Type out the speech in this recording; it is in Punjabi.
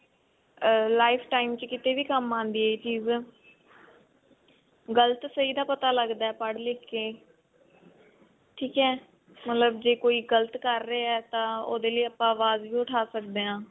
ਅਹ life time ਚ ਕਿਤੇ ਵੀ ਕੰਮ ਆਉਂਦੀ ਹੈ ਇਹ ਚੀਜ ਗਲਤ ਸਹੀ ਦਾ ਪਤਾ ਲਗਦਾ ਪੜ੍ਹ ਲਿੱਖ ਕੇ ਠੀਕ ਹੈ ਮਤਲਬ ਜੇ ਕੋਈ ਗਲਤ ਕਰ ਰਿਹਾ ਤਾਂ ਉਹਦੇ ਲੈ ਆਪਾਂ ਅਵਾਜ਼ ਵੀ ਉਠਾ ਸਕਦੇ ਹਾਂ